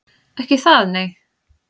Ekki það, nei?